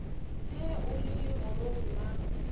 ge o le legorong la